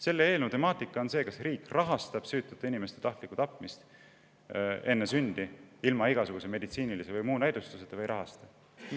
Selle eelnõu temaatika on see, kas riik rahastab süütute inimeste tahtlikku tapmist enne sündi ilma igasuguse meditsiinilise või muu näidustuseta või ei rahasta.